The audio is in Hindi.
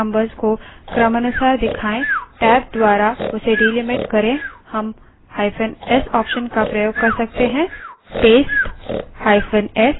यदि हम चाहते हैं कि paste numbers को क्रमानुसार दिखाए टैब द्वारा उसे delimited करें हम –s option का प्रयोग कर सकते हैं